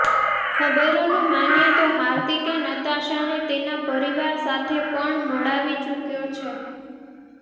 ખબરોનું માનીએ તો હાર્દિકે નતાશાને તેના પરિવાર સાથે પણ મળાવી ચુક્યો છે